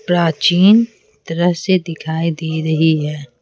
प्राचीन तरह से दिखाई दे रही है।